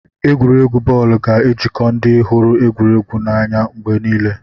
Egwuregwu bọọlụ ga-ejikọ ndị hụrụ egwuregwu n'anya mgbe niile.